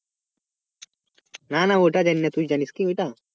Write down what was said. না না ওটা জানিনা তুই জানিস কি ওইটা?